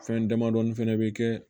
Fɛn damadɔni fɛnɛ bɛ kɛ